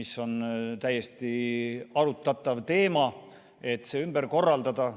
See on täiesti arutatav teema, et see ümber korraldada.